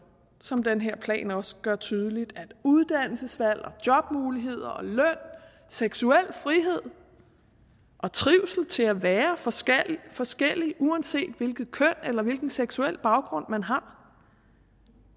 som den her plan også gør tydeligt at uddannelsesvalg jobmuligheder og løn seksuel frihed og trivsel til at være forskellige forskellige uanset hvilket køn eller hvilken seksuel baggrund man har